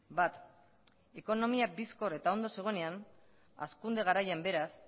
bat ekonomia bizkor eta ondo zegoenean hazkunde garaian beraz